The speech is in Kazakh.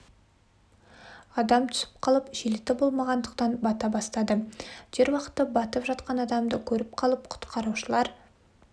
адам түсіп қалып жилеті болмағандықтан бата бастады дер уақытта батып жатқан адамды көріп қалып құтқарушылар